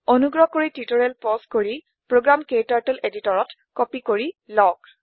অনুগ্ৰহ কৰি tutorial pause কৰি প্ৰোগ্ৰাম ক্টাৰ্টল এডিটৰতত কপি কৰি লওক